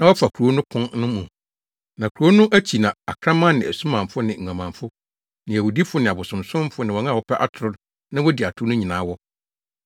Na Kurow no akyi na akraman ne asumanfo ne nguamanfo ne awudifo ne abosonsomfo ne wɔn a wɔpɛ atoro na wodi atoro no nyinaa wɔ.